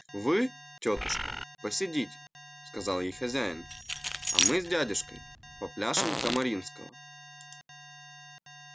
вы тётушка посидите сказал ей хозяин а мы с дядюшкой попляшем камаринского